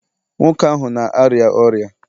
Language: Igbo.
nwoke ahụ na-arịa ọrịa